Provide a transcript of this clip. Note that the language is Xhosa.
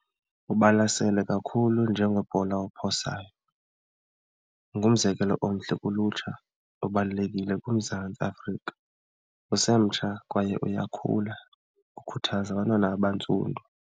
Ubalasele kakhulu njengebhola ophosayo, ungumzekelo omhle kulutsha, ubalulekile kuMzantsi Afrika, usemtsha kwaye uyakhula, ukhuthaza abantwana abantsundu.